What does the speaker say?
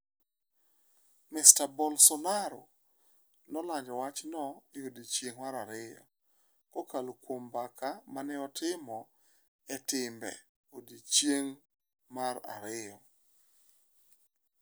Mr Bolsonaro nolando wachno e odiechieng' mar ariyo kokalo kuom mbaka mane otimo e timbe e odiechieng' mar ariyo.